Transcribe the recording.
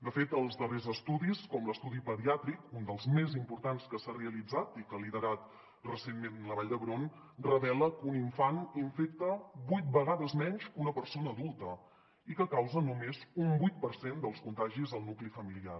de fet els darrers estudis com l’estudi pediàtric un dels més importants que s’ha realitzat i que ha liderat recentment la vall d’hebron revela que un infant infecta vuit vegades menys que una persona adulta i que causa només un vuit per cent dels contagis al nucli familiar